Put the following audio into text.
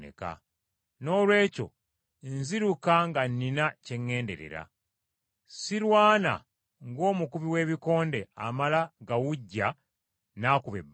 Noolwekyo nziruka nga nnina kye ŋŋenderera. Sirwana ng’omukubi w’ebikonde amala gawujja n’akuba ebbanga.